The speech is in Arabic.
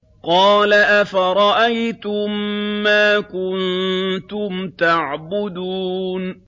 قَالَ أَفَرَأَيْتُم مَّا كُنتُمْ تَعْبُدُونَ